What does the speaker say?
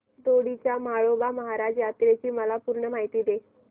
दोडी च्या म्हाळोबा महाराज यात्रेची मला पूर्ण माहिती दे